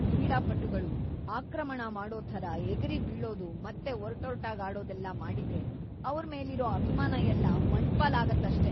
ಕ್ರೀಡಾಪಟುಗಳು ಆಕ್ರಮಣ ಮಾಡೋ ಥರ ಎಗರಿ ಬೀಳೋದು ಮತ್ತೆ ಒರಟೊರ್ಟಾಗಿ ಆಡೋದೆಲ್ಲ ಮಾಡಿದ್ರೆ ಅವ್ರ್‌ ಮೇಲಿರೋ ಅಭಿಮಾನ ಎಲ್ಲ ಮಣ್ಪಾಲಾಗತ್ತಷ್ಟೇ.